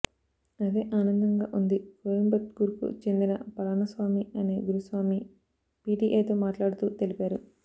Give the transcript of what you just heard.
అదే ఆనందంగా ఉంది అని కోయంబత్తూర్కు చెందిన పళనిస్వామి అనే గురుస్వామి పీటీఐతో మాట్లాడుతూ తెలిపారు